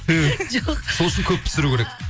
түһ жоқ сол үшін көп пісіру керек